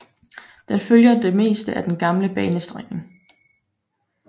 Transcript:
Den følger det meste af den gamle banestrækning